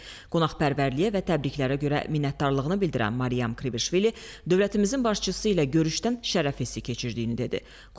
Qonaqpərvərliyə və təbriklərə görə minnətdarlığını bildirən Maryam Kvişvili dövlətimizin başçısı ilə görüşdən şərəf hissi keçirdiyini dedi.